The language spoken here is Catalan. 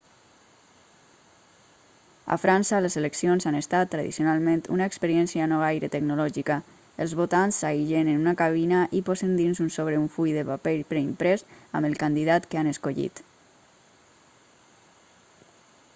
a frança les eleccions han estat tradicionalment una experiència no gaire tecnològica els votants s'aïllen en una cabina i posen dins un sobre un full de paper preimprès amb el candidat que han escollit